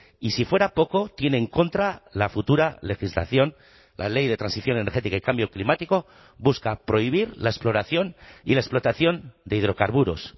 y si fuera poco tiene en contra la futura legislación la ley de transición energética y cambio climático busca prohibir la exploración y la explotación de hidrocarburos